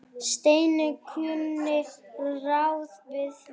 Steini kunni ráð við því.